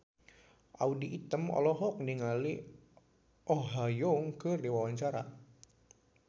Audy Item olohok ningali Oh Ha Young keur diwawancara